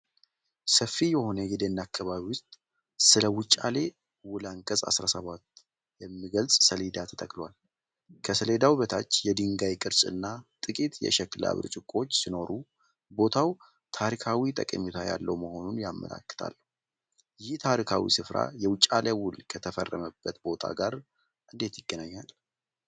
ሰፊ በሆነ የደን አካባቢ ውስጥ፣ ስለ “የውጫሌ ውል አንቀጽ 17” የሚገልጽ ሰሌዳ ተተክሏል። ከሰሌዳው በታች የድንጋይ ቅርጽና ጥቂት የሸክላ ብርጭቆዎች ሲኖሩ፤ ቦታው ታሪካዊ ጠቀሜታ ያለው መሆኑን ያመላክታሉ:: ይህ ታሪካዊ ስፍራ የውጫሌ ውል ከተፈረመበት ቦታ ጋር እንዴት ይገናኛል?